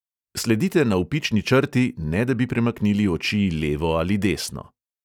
Sledite navpični črti, ne da bi premaknili oči levo ali desno.